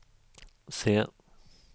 se